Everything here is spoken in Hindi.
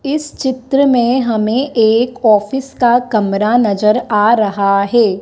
इस चित्र में हमें एक ऑफिस का कमरा नजर आ रहा है।